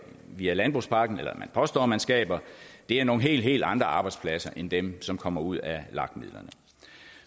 via landbrugspakken eller som man påstår man skaber er nogle helt helt andre arbejdspladser end dem som kommer ud af lag midlerne